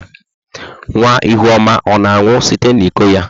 Nwa ihuoma ọ na-aṅụ site n'iko ya?